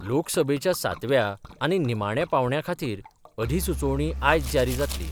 लोकसभेच्या सातव्या आनी निमाण्या पांवड्याखातीर अधिसुचोवणी आयज जारी जातली.